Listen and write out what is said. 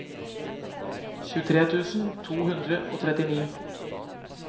tjuetre tusen to hundre og trettini